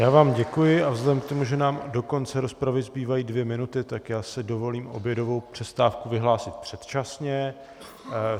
Já vám děkuji a vzhledem k tomu, že nám do konce rozpravy zbývají dvě minuty, tak si dovolím obědovou přestávku vyhlásit předčasně.